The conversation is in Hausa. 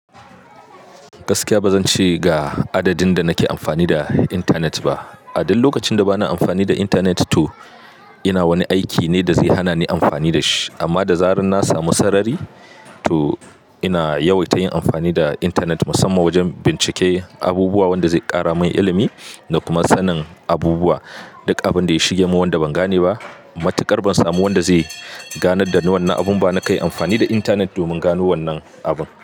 Gaskiya ba zan ce ga adadin da nake amfani da internet ba. A duk lokacin da bana amfani da internet to ina wani aiki ne da zai hana ni amfani da shi. Amma da zaran na samu sarari to ina yawaita yin amfani da internet musamman wajen bincike abubuwa wanda zai ƙara min ilimi da kuma sanin abubuwa. Duk abin da ya shige mun wanda ban gane ba matukar ban samu wanda zai ganar da ni wannan abun ba. Na kai amfani da internet domin gano wannan abun.